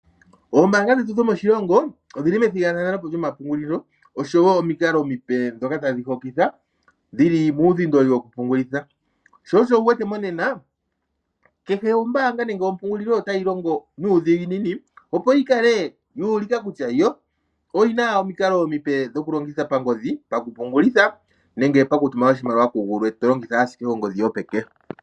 Ombaanga dhetu dhomoshilongo odhili methigathano po lyomapungulilo oshowo omikalo omipe ndhoka tadhi hokitha dhili muudhindoli woku pungulitha, sho osho wu wete monena kehe ombaanga ndjoka nenge ompungulilo otayi longo nuudhiginini opo yi kale yuulika kutya yo oyina omikalo omipe dho ku longitha pangodhi pakupungulitha nenge pakutuma oshimaliwa ku gulwe to longitha ashike ongodhi yopeke.